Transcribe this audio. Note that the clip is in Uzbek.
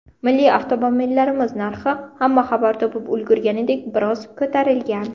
Milliy avtomobillarimiz narxi, hamma xabar topib ulgurganidek, biroz ko‘tarilgan.